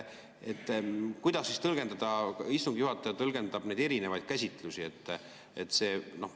Kuidas istungi juhataja tõlgendab neid erinevaid käsitlusi?